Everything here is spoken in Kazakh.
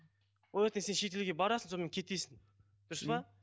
ол ертең сен шетелге барасың сонымен кетесің дұрыс па